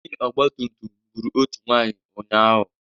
Onye ọgbatụmtụm gbụrụ otu nwaanyị ụnyaahụ.